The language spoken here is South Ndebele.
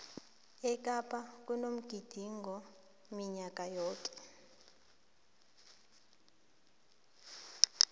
ekapa kunomgidingo minyaka yoke